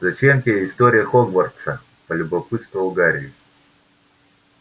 зачем тебе история хогвартса полюбопытствовал гарри